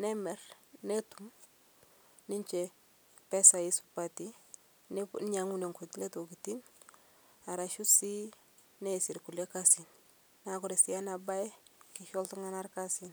nemir netum ninshe mpesai supatii neinyeng'unye nkulie tokitin arashu sii neasie lkulie kazin naa kore sii ana bai naa keisho ltung'ana lkazin.